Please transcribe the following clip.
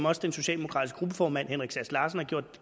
også den socialdemokratiske gruppeformand herre henrik sass larsen gjorde